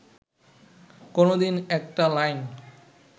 কোনোদিন একটা লাইন